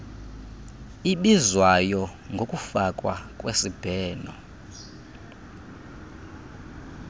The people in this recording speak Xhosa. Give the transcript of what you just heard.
ibizwayo ngokufakwa kwesibheno